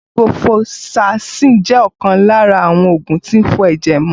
Ciprofloxacin jẹ́ ọ̀kan lára àwọn oògùn tí ń fọ ẹ̀jẹ̀ mọ